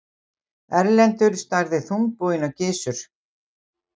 Erlendur starði þungbúinn á Gizur.